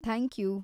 Thank you!